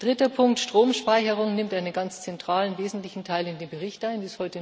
Dritter Punkt Stromspeicherung nimmt einen ganz zentralen, wesentlichen Teil in dem Bericht ein.